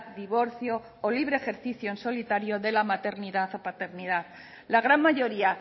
divorcio o libre ejercicio en solitario de la maternidad o paternidad la gran mayoría